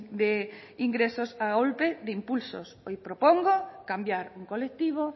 de ingresos a golpe de impulsos hoy propongo cambiar un colectivo